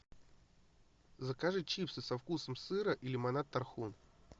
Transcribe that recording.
закажи чипсы со вкусом сыра и лимонад тархун